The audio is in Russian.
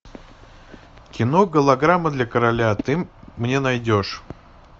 кино голограмма для короля ты мне найдешь